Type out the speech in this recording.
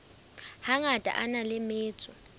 hangata a na le metso